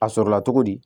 A sɔrɔla cogo di